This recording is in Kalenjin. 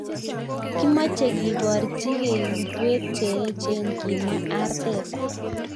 Kimoche keborchi ke kutwet cheechen, kimwa Arteta.